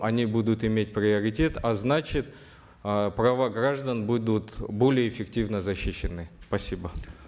они будут иметь приоритет а значит э права граждан будут более эффективно защищены спасибо